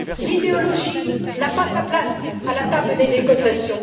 L'idéologie n'a pas sa place à la table des négociations.